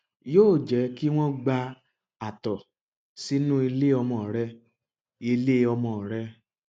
yóò jẹ kí wọn gba àtọ sínú ilé ọmọ rẹ ilé ọmọ rẹ